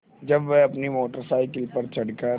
जब वह अपनी मोटर साइकिल पर चढ़ कर